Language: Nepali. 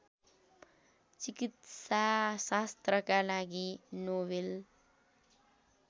चिकित्साशास्त्रका लागि नोवेल